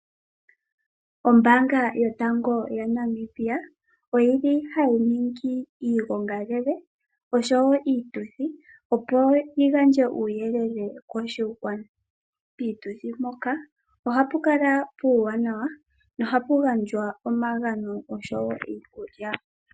Ombaanga yotango ya Namibia oyili hayi ningi iigongalele osho wo iituthi, opo yigandje uuyelele koshigwana. Pituthi mpoka ohapu kala puuwanawa nohapu gandjwa omagano oshowo iikulya.